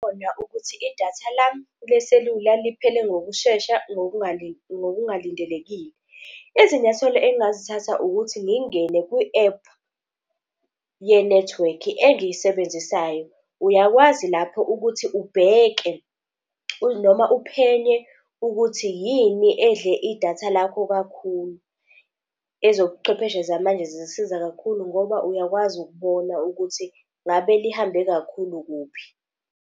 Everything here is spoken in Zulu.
Khona ukuthi idatha lami leselula liphele ngokushesha ngokungalindelekile. Izinyathelo engingazithatha ukuthi ngingene kwi-app yenethiwekhi engiyisebenzisayo. Uyakwazi lapho ukuthi ubheke noma uphenye ukuthi yini edle idatha lakho kakhulu. Ezobuchwepheshe zamanje zisisiza kakhulu ngoba uyakwazi ukubona ukuthi ngabe lihambe kakhulu kuphi.